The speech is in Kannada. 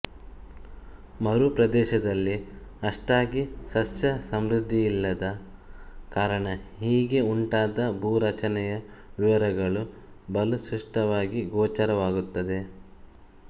ಮೇರು ಪ್ರದೇಶದಲ್ಲಿ ಅಷ್ಟಾಗಿ ಸಸ್ಯಸಮೃದ್ಧಿಯಿಲ್ಲದ ಕಾರಣ ಹೀಗೆ ಉಂಟಾದ ಭೂ ರಚನೆಯ ವಿವರಗಳು ಬಲು ಸ್ಪಷ್ಟವಾಗಿ ಗೋಚರವಾಗುತ್ತವೆ